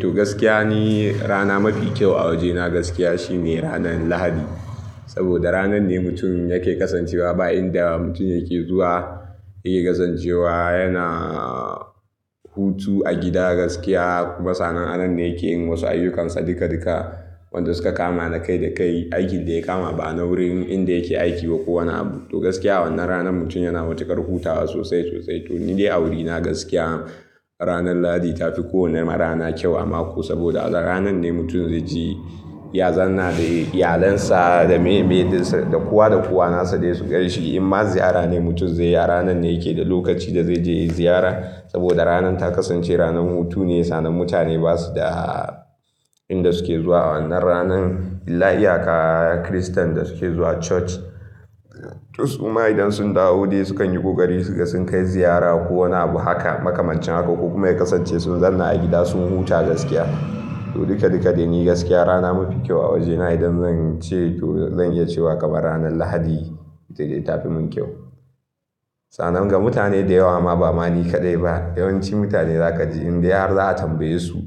To, gaskiya ni rana mafi kyau a wajena gaskiya shine ranar Lahadi. Saboda ranar ne mutum yake kasancewa ba inda mutum yake zuwa yake kasancewa, yana hutu a gida gaskiya kuma sannan anan ne yake yin wasu ayyukansa duka duka. Wanda suka kama na kai da kai, aikin da ya kama ba na wurin inda yake aiki ba ko wani abu. To gaskiya wannan ranar mutum yana matukar hutawa sosai sosai. To ni dai a wurina gaskiya ranar Lahadi tafi kowane rana kyau a mako saboda a ranar ne mutum zai je ya zanna da iyalinsa, da me me dinsa, da kowa da kowa nasa da su ganshi Inma ziyara ne mutum zai yi, ranar ne yake da lokaci da zai je ziyara saboda ranar ta kasance ranar hutu ne. Sannan mutane basu da inda suke zuwa wannan ranar illa iyaka Kiristan da suke zuwa church. Tos uma idan sun dawo dai sukan yi ƙoƙari sun kai ziyara ko wani abu haka makamancin haka. Kuma ya kasance sun zanna a gida sun huta gaskiya. To duka duka dai ni gaskiya rana mafi kyau a wajena idan zan ce to zan iya cewa kamar ranar Lahadi ita ta fi mun kyau. Sannan ga mutane da yawa ma ba mani kaɗai ba, yawanci mutane zaka ji in dai har za'a tambaye su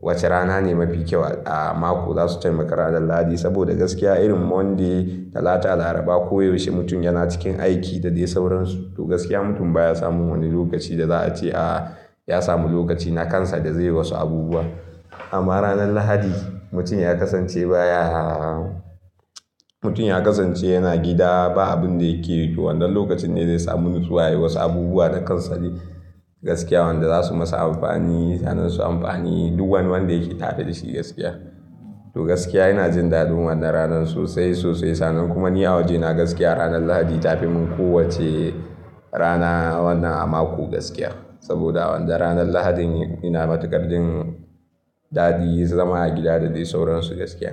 wace rana ne mafi kyau a mako, zasu taimaka ranar Lahadi. Saboda gaskiya irin Monday, Talata, Laraba koyaushe mutum yana cikin aiki da dai sauransu. To gaskiya mutum baya samun wani lokaci da za a ce a ya samu lokaci na kansa da zai yi wasu abubuwa. Amma ranar Lahadi mutum ya kasance baya, mutum ya kasance yana gida ba abin da yake yi. To wannan lokacin ne zai samu nutsuwa yayi wasu abubuwa na kansa dai gaskiya. Wanda zasu masa amfani, sanin su amfani duk wani wanda yake tafe da shi gaskiya. To gaskiya ina jin dadin wannan ranar sosai sosai. Sannan kuma ni a wajena gaskiya ranar Lahadi tafi mun kowacce rana wannan a mako gaskiya. Saboda wannan ranar Lahadin ina matuƙar jin dadi zama a gida da dai sauransu gaskiya.